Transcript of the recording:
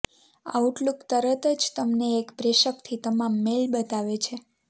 Outlook તરત જ તમને એક જ પ્રેષકથી તમામ મેઇલ બતાવે છે